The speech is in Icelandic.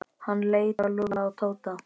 Hann leit á Lúlla og Tóta.